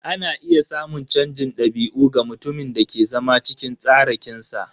Ana iya samun canjin dabi'u ga mutumin da ke zama cikin tsarakinsa.